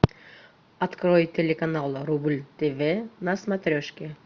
открой телеканал рубль тв на смотрешке